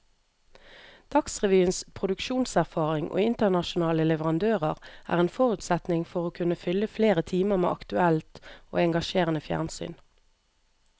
Dagsrevyens produksjonserfaring og internasjonale leverandører er en forutsetning for å kunne fylle flere timer med aktuelt og engasjerende fjernsyn.